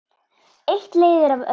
Eitt leiðir af öðru.